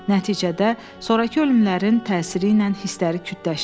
Nəticədə, sonrakı ölümlərin təsiri ilə hisləri kütləşdi.